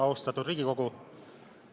Austatud Riigikogu!